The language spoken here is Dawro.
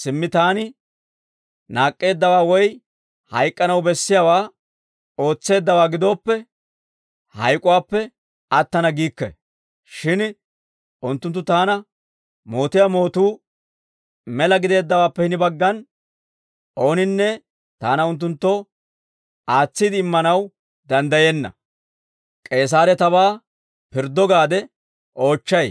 Simmi taani naak'k'eeddawaa woy hayk'k'anaw bessiyaawaa ootseeddawaa gidooppe, hayk'uwaappe attana giikke; shin unttunttu taana mootiyaa mootuu mela gideeddawaappe hini baggan, ooninne taana unttunttoo aatsiide immanaw danddayenna; K'eesaare tabaa pirddo gaade oochchay»